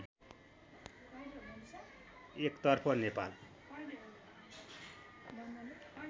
एक तर्फ नेपाल